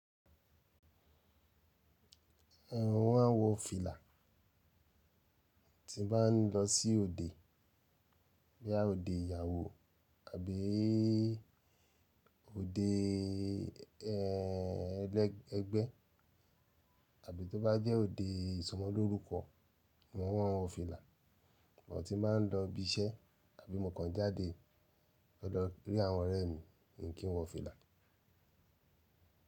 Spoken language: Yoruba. Ẹn mo máa ń wọ fìlà tí bá n lọ sí òde bóyá òde ìyàwó àbí í òdéé ẹ ẹlẹ ẹgbẹ́ àbí tó bá jẹ́ òde ìsọmọlórúkọ mo máa ń wọ fìlà. But ti bá n lọ ibi iṣẹ́ àbí mokàn jáde lọ lọ rí àwọn ọ̀rẹ́ mi mi kí n wọ fìlà.